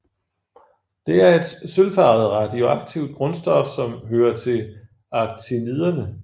Det er et sølvfarvet radioaktivt grundstof som hører til actiniderne